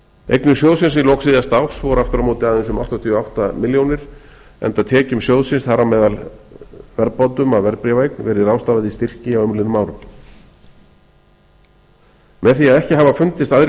eignir sjóðsins í lok síðasta árs voru aftur á móti aðeins um áttatíu og átta milljónir króna enda tekjum sjóðsins þar á meðal verðbótum af verðbréfaeign verið ráðstafað í styrki á umliðnum árum með því að ekki hafa fundist aðrir